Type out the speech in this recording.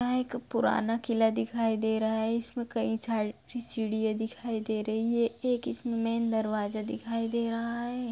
यह एक पुराना किला दिखाई दे रहा है इसमे कईं छारी- सारी सीढ़ियां दिखाई दे रही है एक इसमे मैन दरवाजा दिखाई दे रहा है।